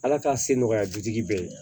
Ala k'a se nɔgɔya bitigi bɛɛ ye